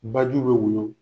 Bajiw bɛ woyo.